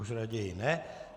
Už raději ne.